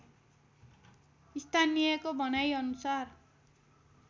स्थानीयको भनाइ अनुसार